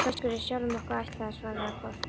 Sá fiskur er sjálfum okkur ætlaður, svaraði Kort.